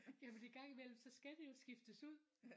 Ja fordi en gang imellem så skal det jo skiftes ud